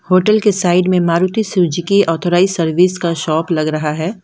Hotel के side में Maruti Suzuki authorised service का शॉप लग रहा है।